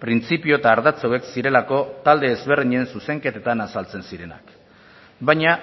printzipio eta ardatz hauek zirelako talde ezberdinen zuzenketetan azaltzen zirenak baina